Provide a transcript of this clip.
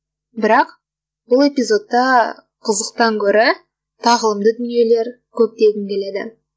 бірақ бұл эпизодта қызықтан гөрі тағылымды дүниелер көп дегім келеді